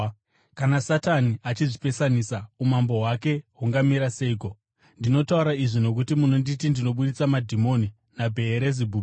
Kana Satani achizvipesanisa, umambo hwake hungamira seiko? Ndinotaura izvi nokuti munonditi ndinobudisa madhimoni naBheerizebhubhi.